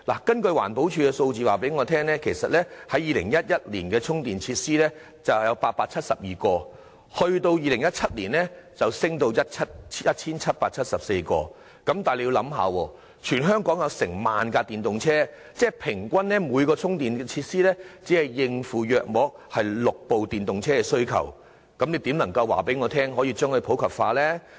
根據環保署的數字，充電設施由2011年的872個增至2017年的 1,774 個，但現時全港有近萬輛電動車，即平均每個充電設施須應付約6輛電動車的需求，試問如何能令電動車普及化呢？